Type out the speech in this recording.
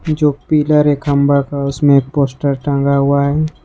जो पिलर है खंभा का उसमें एक पोस्टर टंगा हुआ है।